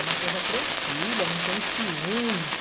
É uma coisa tranquila, não tem ciúmes.